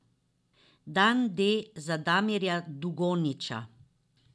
Dan D za Damirja Dugonjića.